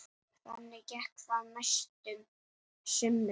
Þannig gekk það næstu sumrin.